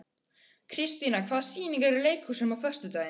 Kristíanna, hvaða sýningar eru í leikhúsinu á föstudaginn?